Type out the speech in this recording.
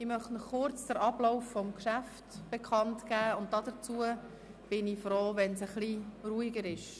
Ich möchte Ihnen kurz den Ablauf des Geschäfts bekannt geben und bin froh, wenn es etwas ruhiger wird.